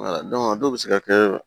a dɔw bɛ se ka kɛ